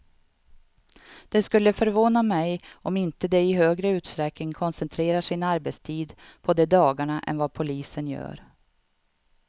Det skulle förvåna mig om de inte i högre utsträckning koncentrerar sin arbetstid på de dagarna än vad polisen gör.